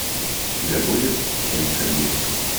у тебя будет семь кабинок